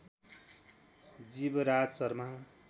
Jivraj Sharma